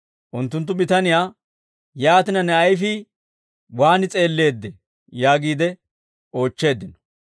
Unttunttu bitaniyaa, «Yaatina, ne ayfii waan s'eelleeddee?» yaagiide oochcheeddino.